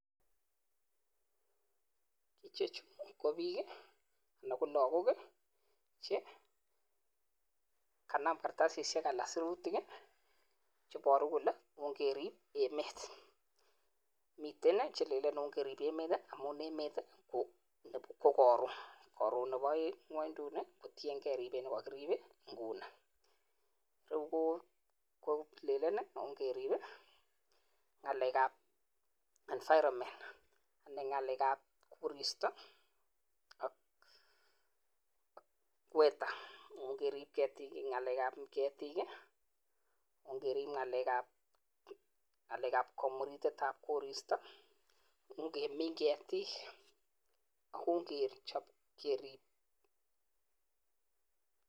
Ichechu ko biik, ana ko lokook che kanaam kartasisiek ana siruutik i.Cheboruu kole keerib emet, miten ng'alek che lelen ongeriib emet. Amun emet ko koroon. Koron Nebo ng'wonduni, kotiengei ribet nekokiriib inguni. Reu kolelen i,ong'eerib ngalekab environment .Anan ng'alekab kooristoo ak weather ongeriib keetik, anan ngalekab keetik i,ong'eriib ng'alekab komuritetaab koristo. Ongemiin keetik, ak ongechob keerib emet.